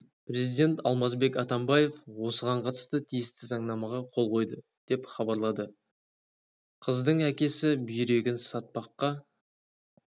президент алмазбек атамбаев осыған қатысты тиісті заңнамаға қол қойды деп хабарлады кз қыздың әкесі бүйрегін сатпаққа